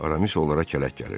Aramis onlara kələk gəlirdi.